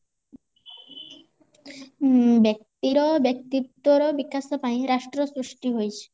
ହୁଁବ୍ୟକ୍ତି ର ବ୍ୟକ୍ତିତ୍ବ୍ୟର ବିକାଶ ପାଇଁ ରାଷ୍ଟ୍ର ସୃଷ୍ଟି ହେଇଚି